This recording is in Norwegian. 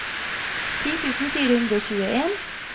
ti tusen fire hundre og tjueen